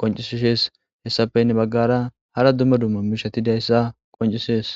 qoncisishees hessafeynne baggara hara duma duma mishatidayssa qoncisees.